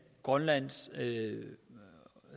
grønlands